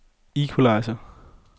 equalizer